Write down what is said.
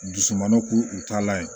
Dusu malo k'u ta la ye